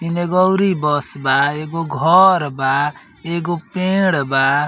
एगो अउरी बस बा। एगो घर बा। एगो पेड़ बा।